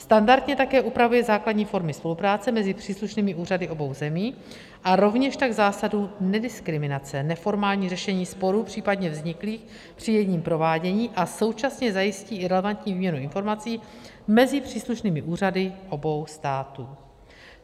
Standardně také upravuje základní formy spolupráce mezi příslušnými úřady obou zemí a rovněž tak zásadu nediskriminace, neformální řešení sporů případně vzniklých při jejím provádění a současně zajistí i relevantní míru informací mezi příslušnými úřady obou států.